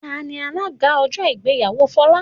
Tani alága ọjọ́ ìgbéyàwó Folá?